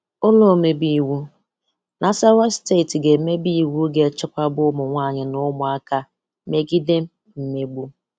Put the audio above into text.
Ụ́lọ́ omebeiwu Nasarawa steeti ga-emebe iwu ga-echekwaba ụmụnwaanyị na ụmụaka megide mmegbu.